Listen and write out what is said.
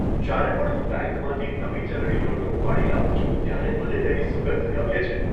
જ્યારે પણ હું બેંકમાંથી નવી ચલણી નોટો ઉપાડી લાવું છું ત્યારે મને તેની સુગંધ ગમે છે.